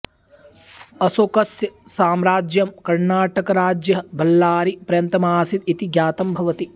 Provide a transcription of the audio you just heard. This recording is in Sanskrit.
अशोकस्य साम्राज्यम् कर्णाटकराज्य बळ्ळारी पर्यन्तमासीत् इति ज्ञातम् भवति